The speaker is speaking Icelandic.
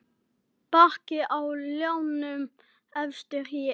Bakki á ljánum efstur er.